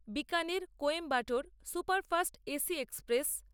Bikaner Coimbatore superfast AC express